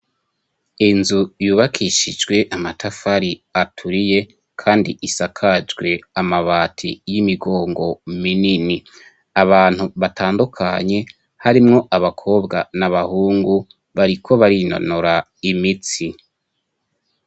Inzu yubakishijwe amatafari aturiye, kandi isakajwe amabati y'imigongo minini abantu batandukanye harimwo abakobwa na abahungu bariko barinonora imitsi.